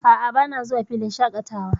A'a, bana zuwa filin shaƙatawa.